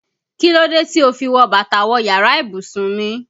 Kí ló dé tí o fi wọ bàtà wọ yàrá ìbùsùn mi?